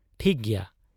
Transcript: ᱴᱷᱤᱠ ᱜᱮᱭᱟ ᱾